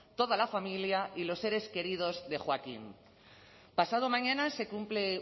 toda la familia y los seres queridos de joaquín pasado mañana se cumple